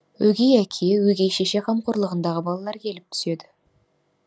өгей әке өгей шеше қамқорлығындағы балалар келіп түседі